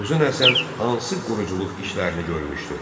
Uzun Həsən hansı quruculuq işlərini görmüşdü?